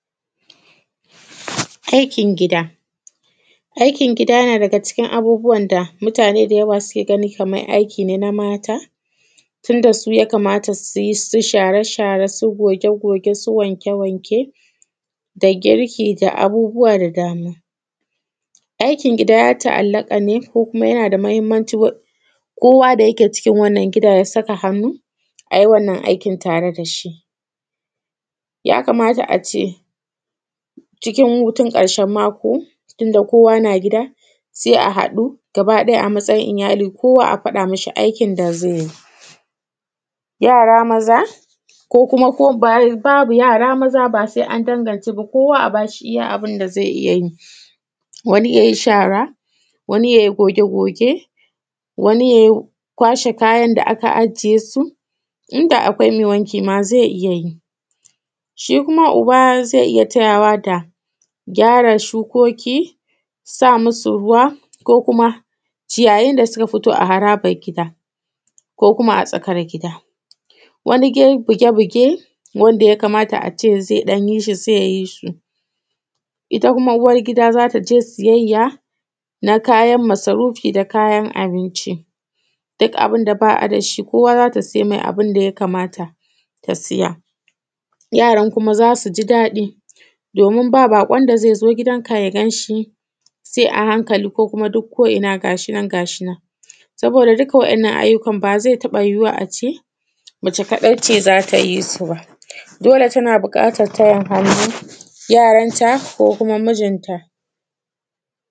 Aikin gida. Aikin gida na daga cikin abubuwan da mutane da yawa suke ganin kamar aiki ne na mata; tun da su ya kamata su yi su share-share su goge-goge su wanke-wanke da girki da abubuwa da dama Aikin gida ya ta’allaƙa ne ko kuma yana da muhimmancil wa; kowa da yake cikin wannan gida ya saka hannu, ai wannan aiki tare da shi Ya kamata a ce, cikin hutun ƙarshen mako, tunda kowa na gida, se a haɗu gabaɗaya a matsayin iyali kowa a faɗa mishi aikin da zai yi. Yara maza, ko kuma ko bab; babu yara maza ba sai an dangance ba kowa a ba shi iya abin da ze iya yi Wani ya yi shara, wani ya yi goge-goge, wani ya yi kwashe kayan da aka ajiye su, in da akwai yin wanki ma ze iya yi Shi kuma uba ze iya tayawa da, gyara shukoki, sa musu ruwa ko kuma, ciyayin da suka fito a harabar gida ko kuma a tsakar gida, wani de bige-bige wanda ya kamata a ce ze ɗan yi shi, zai yi shi. Ita kuma uwargida za ta je siyayya, na kayan masarufi da kayan abinci, duk abin da ba a da shi kowa za ta se mai abin da ya kamata ta saya yaran kuma za su ji daɗi, domin ba baƙon da zai zo gidanka ya gan shi; sai a hankali ko kuma duk ko’ina ga shi nan ga shi nan. Saboda dukka waɗannan ayyukan ba ze taƃa yiwuwa a ce, mace kaɗai ce za ta yi su ba, dole tana buƙatar tayin hannu, yaranta ko kuma mijinta.